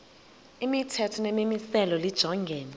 imithetho nemimiselo lijongene